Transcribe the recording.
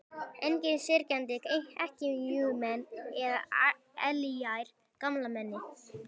Engir syrgjandi ekkjumenn eða elliær gamalmenni.